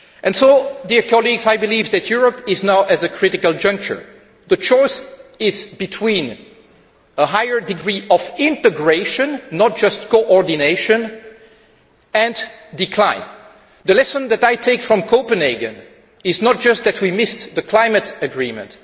So I believe that Europe is now at a critical juncture. The choice is between a higher degree of integration, not just coordination, and decline. The lesson that I take from Copenhagen is not just that we missed the climate agreement.